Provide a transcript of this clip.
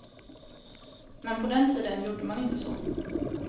Men på den tiden gjorde man inte så.